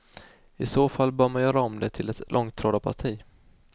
I så fall bör man göra om det till ett långtradarparti.